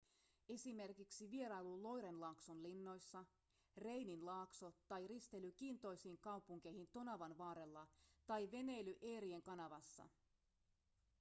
esimerkiksi vierailu loiren laakson linnoissa reinin laakso tai risteily kiintoisiin kaupunkeihin tonavan varrella tai veneily erien kanavassa